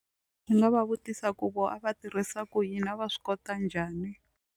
Ni nga va vutisa ku vona a va tirhisa ku yini a va swi kota njhani.